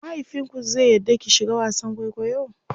mahaifinku zai yarda ki shiga wasan kwaikwayo?